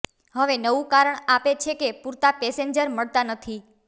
હવે નવું કારણ આપે છે કે પૂરતા પેસેન્જર મળતા નથી